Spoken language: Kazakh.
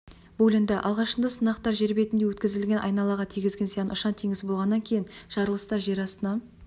бөлінді алғашында сынақтар жер бетінде өткізілген айналаға тигізген зияны ұшан-теңіз болғаннан кейін жарылыстар жер астына